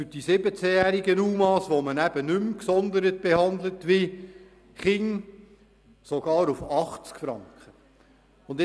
Für die 17-jährigen UMA, die man nicht wie die Kinder gesondert behandelt, wurde der Betrag sogar auf 80 Franken reduziert.